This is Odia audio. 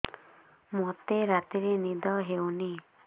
ମୋତେ ରାତିରେ ନିଦ ହେଉନି